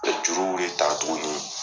O juru le tara tugunni